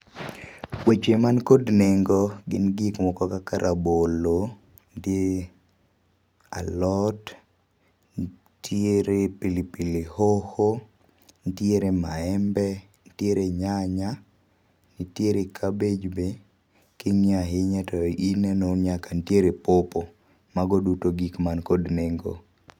Weche man kod nengo gin gik moko kaka rabolo gi alot, ntiere pilipili hoho, ntiere maembe, ntiere nyanya, nitiere cabbage be. Kingiyo ahinya tineno nyaka nitiere pawpaw. Mago duto gik mantiere kod nengo